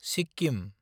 Sikkim